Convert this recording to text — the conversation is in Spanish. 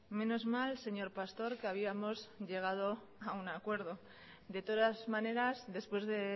menos mal señor pastor que habíamos llegado a un acuerdo de todas maneras después de